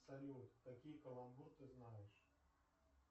салют какие каламбуры ты знаешь